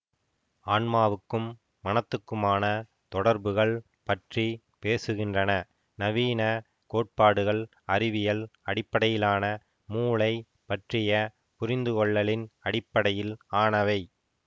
ஆன்மாவுக்கும் மனத்துக்குமான தொடர்புகள் பற்றி பேசுகின்றன நவீன கோட்பாடுகள் அறிவியல் அடிப்படையிலான மூளை பற்றிய புரிந்து கொள்ளலின் அடிப்படையில் ஆனவை